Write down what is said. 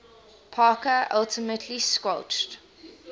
parker ultimately squelched